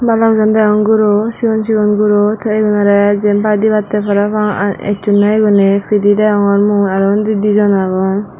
balokjon degong guro sigon sigon guro te iyunorey jiyenpai dibatte parapang aa ecchonde iguney pidey degongor mui aro undi dijon agon.